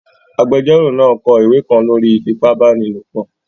Agbẹjọ́rò náà n kọ ìwé kan lórí ìfipábanílòpọ̀